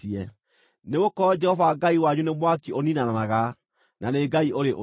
Nĩgũkorwo Jehova Ngai wanyu nĩ mwaki ũniinanaga, na nĩ Ngai ũrĩ ũiru.